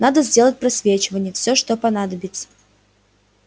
надо сделать просвечивание всё что понадобится